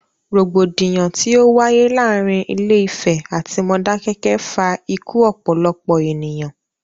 Rògbòdìyàn tí o wáyé láàárín Ilé Ìfẹ̀ atí Modákẹ́kẹ́ fa ikú ọ̀pọ̀lọpọ̀ ènìyàn.